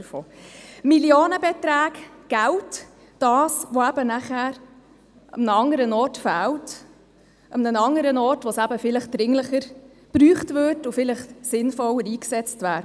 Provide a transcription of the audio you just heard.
Ich meine Millionenbeträge, Geld, das eben nachher an einem anderen Ort fehlt, an einem anderen Ort, wo es vielleicht eben dringlicher gebraucht würde und vielleicht sinnvoller eingesetzt wäre.